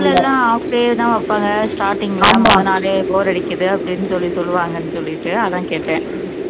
school எல்லாம் half day தான் வைப்பாங்க starting ல போனா bore அடிக்குது அப்படின்னு சொல்லி சொல்லுவாங்கன்னு சொல்லிட்டு அதான் கேட்டேன்